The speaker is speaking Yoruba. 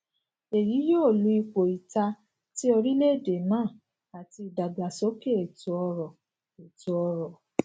eyi yoo lu ipo ita ti orilẹede naa ati idagbasoke etoọrọ etoọrọ